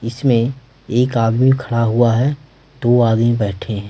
इसमें एक आदमी खड़ा हुआ है दो आदमी बैठे हैं।